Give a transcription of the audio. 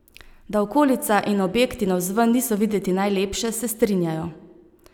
Da okolica in objekti navzven niso videti najlepše, se strinjajo.